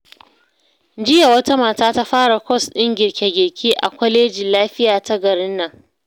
Jiya, wata mata ta fara kwas ɗin girke-girke a kwalejin lafiya ta garin nan.